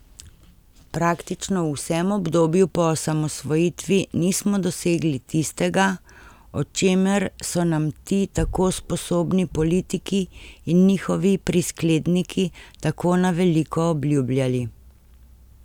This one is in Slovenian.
Praktično v vsem obdobju po osamosvojitvi nismo dosegli tistega, o čemer so nam ti tako sposobni politiki in njihovi priskledniki tako na veliko obljubljali.